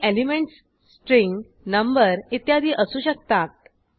हे elements string number इत्यादी असू शकतात